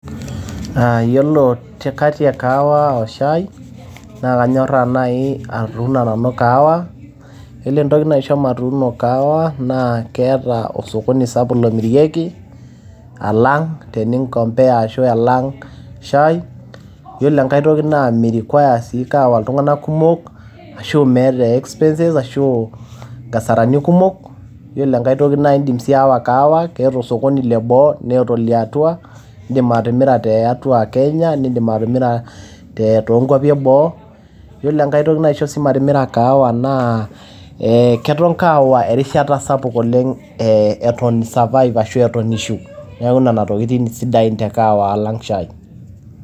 Aa iyiolo katti e kahawa oo shai naa kanyoraa naji nanu atuno nanu kahawa . Iyiolo entoki naisho matuno kahawa naa keeta osokoni sapuk omiriieki alang teni compare ashu alang shai. Iyiolo enkae toki naa mme require sii iltung`anak kumok ashu meeta expenses kumok ashu aa nkasarani kumok. Ore enkae toki naa idim atimira tiatua Kenya nidim atimira to nkuapi eboo. Iyiolo enkae toki naisho sii matimira kahawa naa keton kahawa erishata sapuk oleng eton ii survive ashu eton ishu. Niaku nena tokitin sidain te kahawa alang shai.